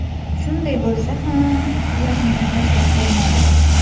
Shunday bo‘lsa ham, ular meni tashlab qo‘ymadi.